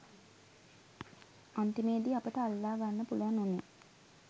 අන්තිමේදි අපිට අල්ලා ගන්න පුළුවන් වුණේ